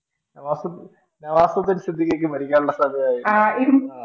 നവാസുദ്ദീൻ സിദ്ദിഖിക്കക്കു മരിക്കാനുള്ള സമയമായില്ല